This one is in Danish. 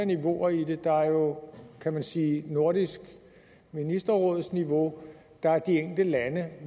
niveauer i det der er jo kan man sige nordisk ministerråds niveau der er de enkelte lande